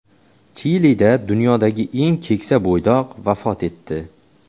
Chilida dunyodagi eng keksa bo‘ydoq vafot etdi.